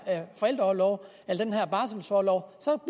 barselsorlov så